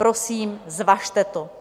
Prosím, zvažte to.